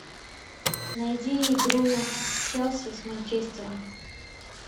найди игру челси с манчестером